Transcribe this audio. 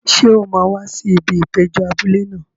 Ṣé o máa wá sí ibi ìpéjọ abúlé náà?